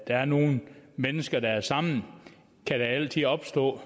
der er nogle mennesker der er sammen kan der altid opstå